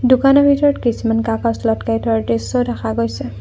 দোকানৰ ভিতৰত কিছুমান কাগজ থোৱাৰ দৃশ্য দেখা গৈছে।